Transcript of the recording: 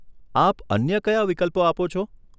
આપ અન્ય કયા વિકલ્પો આપો છે?